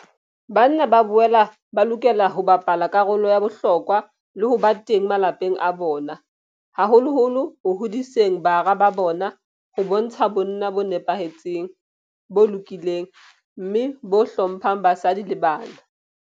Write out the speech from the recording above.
Banna ba boela ba lokela ho bapala karolo ya bohlokwa le ho ba teng malapeng a bona, haholoholo ho hodiseng bara ba bona ho bontsha bonna bo nepahetseng, bo lokileng mme bo hlo mphang basadi le bana.